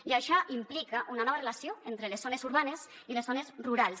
i això implica una nova relació entre les zones urbanes i les zones rurals